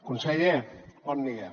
conseller bon dia